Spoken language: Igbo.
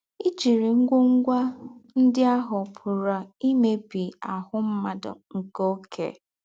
Íjírị́ ngwọ́ngwọ́ ndí́ àhụ́ pụ̀rà ímèbí áhụ́ mmádụ̀ nkē ọ̌kè.